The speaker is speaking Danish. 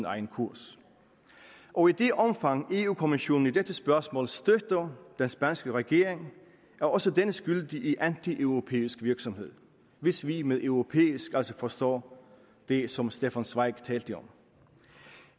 egen kurs og i det omfang europa kommissionen i dette spørgsmål støtter den spanske regering er også den skyldig i antieuropæisk virksomhed hvis vi med europæisk altså forstår det som stefan zweig talte om